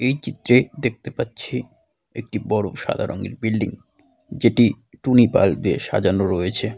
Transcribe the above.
এই চিত্রে দেখতে পাচ্ছি একটি বড় সাদা রঙের বিল্ডিং । যেটি টুনি বাল্ব দিয়ে সাজানো রয়েছে।